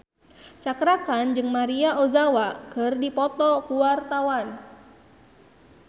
Cakra Khan jeung Maria Ozawa keur dipoto ku wartawan